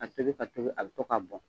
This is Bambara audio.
Ka tobi ka tobi a bi to ka bɔn